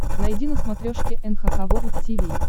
найди на смотрешке эн эйч кей волд ти ви